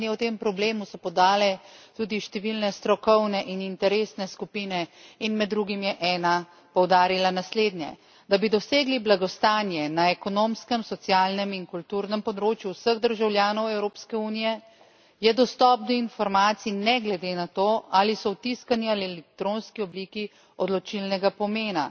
Mnenje o tem problemu so podale tudi številne strokovne in interesne skupine in med drugim je ena poudarila naslednje da bi dosegli blagostanje na ekonomskem, socialnem in kulturnem področju vseh državljanov Evropske unije, je dostop do informacij ne glede na to, ali so v tiskani ali v elektronski obliki, odločilnega pomena,